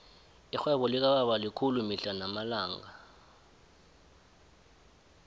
irhwebo likababa likhulu mihla namalanga